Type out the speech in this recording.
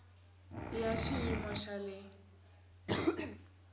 i ya xiyimo xa le